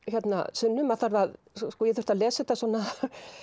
Sunnu ég þurfti að lesa þetta svona